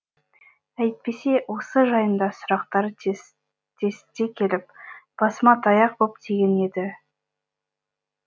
әйтпесе осы жайында сұрақтар тестте келіп басыма таяқ боп тиген еді